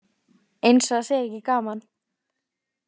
Eins og það sé ekki gaman.